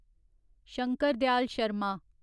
Shankar Dayal Sharma